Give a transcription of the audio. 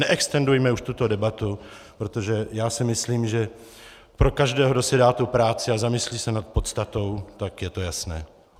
Neextendujme už tuto debatu, protože já si myslím, že pro každého, kdo si dá tu práci a zamyslí se nad podstatou, tak je to jasné.